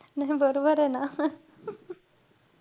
नाई बरबर आहे ना.